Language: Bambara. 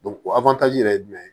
yɛrɛ ye jumɛn ye